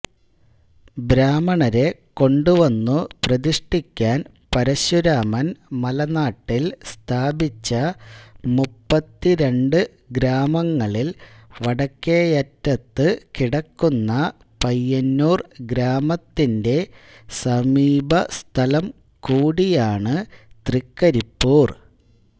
ബ്രാഹ്മണരെ കൊണ്ടുവന്നു പ്രതിഷ്ഠിക്കാൻ പരശുരാമൻ മലനാട്ടിൽ സ്ഥാപിച്ച മുപ്പത്തിരണ്ട് ഗ്രാമങ്ങളിൽ വടക്കേയറ്റത്തു കിടക്കുന്ന പയ്യന്നൂർ ഗ്രാമത്തിന്റെ സമീപസ്ഥലം കൂടിയാണ് തൃക്കരിപ്പൂർ